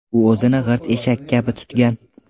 U o‘zini g‘irt eshak kabi tutgan.